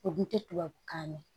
O kun tɛ tubabukan mɛn